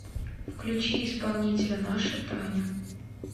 включи исполнителя наша таня